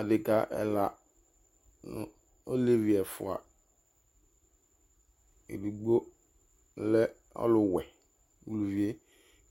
Adeka ɛla olevi ɛfua ɔluedigbo lɛ ɔwuɛ